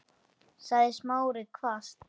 sagði Smári hvasst.